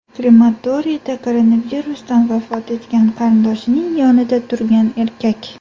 Krematoriyda koronavirusdan vafot etgan qarindoshining yonida turgan erkak.